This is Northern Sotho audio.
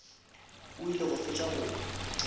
o ile go fetša go